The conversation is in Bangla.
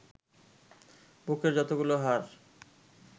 বুকের যতগুলো হাড়